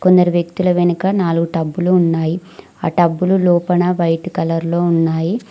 కొందరు వ్యక్తుల వెనక నాలుగు టబ్బులు ఉన్నాయి ఆ టబ్బులు లోపన వైట్ కలర్లో ఉన్నాయి.